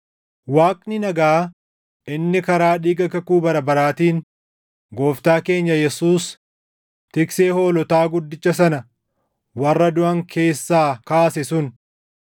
Waaqni nagaa inni karaa dhiiga kakuu bara baraatiin Gooftaa keenya Yesuus, Tiksee hoolotaa guddicha sana warra duʼan keessaa kaase sun,